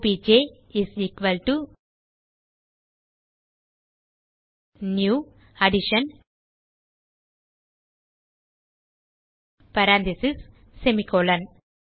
obj is equal to new addition parenthesis semicolon